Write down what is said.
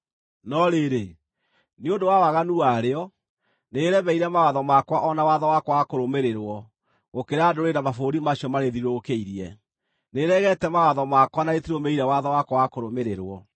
No rĩrĩ, nĩ ũndũ wa waganu warĩo, nĩrĩremeire mawatho makwa o na watho wakwa wa kũrũmĩrĩrwo gũkĩra ndũrĩrĩ na mabũrũri macio marĩthiũrũrũkĩirie. Nĩrĩregete mawatho makwa na rĩtirũmĩrĩire watho wakwa wa kũrũmĩrĩrwo.